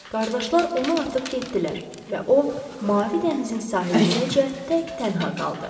Qardaşlar onu atıb getdilər və o mavi dənizin sahilindəcə tək-tənha qaldı.